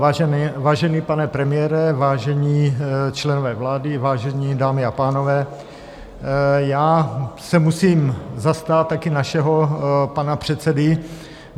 Vážený pane premiére, vážení členové vlády, vážené dámy a pánové, já se musím zastat taky našeho pana předsedy.